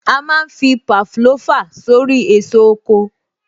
A má ń fi Pavlova sórí èso oko